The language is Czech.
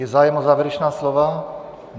Je zájem o závěrečná slova?